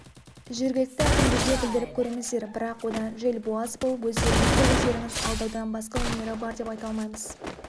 жергілікті әкімдерге білдіріп көріңіздер бірақ одан желбуаз болып өздеріңізді-өздеріңіз алдаудан басқа өнері бар деп айта алмаймыз